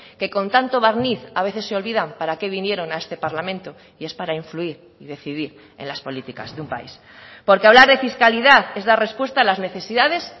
que con tanto barniz a veces se olvidan para que vinieron a este parlamento y es para influir y decidir en las políticas de un país porque hablar de fiscalidad es dar respuesta a las necesidades